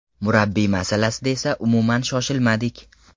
Murabbiy masalasida esa umuman shoshilmadik.